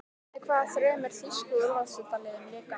Með hvaða þremur þýsku úrvalsdeildarliðum lék hann?